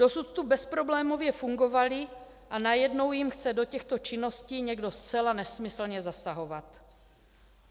Dosud tu bezproblémově fungovaly, a najednou jim chce do těchto činností někdo zcela nesmyslně zasahovat.